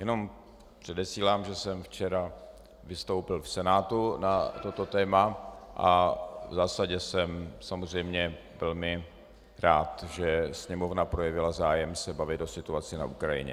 Jenom předesílám, že jsem včera vystoupil v Senátu na toto téma a v zásadě jsem samozřejmě velmi rád, že Sněmovna projevila zájem se bavit o situaci na Ukrajině.